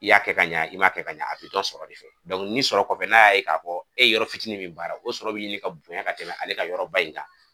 I y'a kɛ ka ɲa i m'a kɛ ka ɲa, a bi dɔn sɔrɔ de fɛ ni sɔrɔ kɔfɛ n'a y'a ye k'a fɔ, e yɔrɔ fitinin min baara, o sɔrɔ bi ɲini ka bonya ka tɛmɛ ale ka yɔrɔba in kan